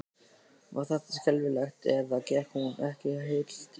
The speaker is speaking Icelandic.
Var þetta skelfing eða gekk hún ekki heil til skógar?